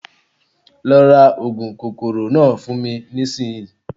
Lọ ra oògùn kòkòrò náà fún mi nísìnyi